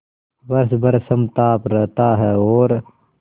वर्ष भर समताप रहता है और